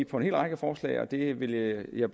på en hel række forslag og der vil jeg